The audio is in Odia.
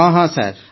ହଁ ହଁ ସାର୍